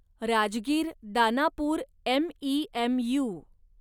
Rajgir Danapur MEMU